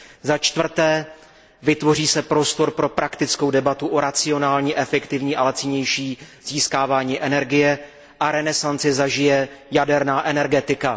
Začtvrté, vytvoří se prostor pro praktickou debatu o racionálním, efektivním a lacinějším získávání energie a renesanci zažije jaderná energetika.